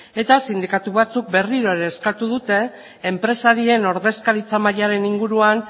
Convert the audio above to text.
eta sindikatu batzuek berriro ere eskatu dute enpresarien ordezkaritza mailaren inguruan